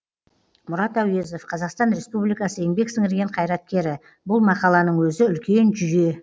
мұрат әуезов қазақстан республикасы еңбек сіңірген қайраткері бұл мақаланың өзі үлкен жүйе